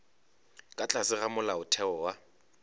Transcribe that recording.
ka tlase ga molaotheo wa